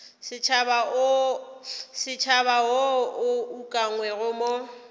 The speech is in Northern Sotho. setšhaba wo o ukangwego mo